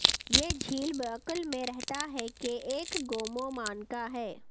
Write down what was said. یہ جھیل بعکل میں رہتا ہے کہ ایک گومومانکا ہے